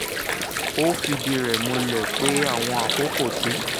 ó fìdí rẹ̀ múlẹ̀ pé àwọn àkókò tí